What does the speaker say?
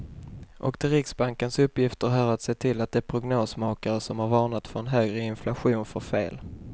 Och till riksbankens uppgifter hör att se till att de prognosmakare som har varnat för en högre inflation får fel.